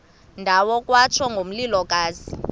ndawo kwatsho ngomlilokazi